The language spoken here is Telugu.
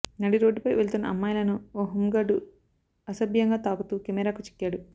నడిరోడ్డుపై వెళ్తున్న అమ్మాయిలను ఓ హోం గార్డు అసభ్యంగా తాకుతూ కెమెరాకు చిక్కాడు